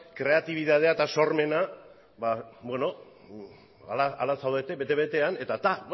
kreatibitatea eta sormena beno hala zaudete bete betean eta beno